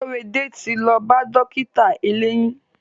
Korede ti lo ba dókítà eleyiin.